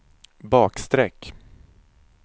bakstreck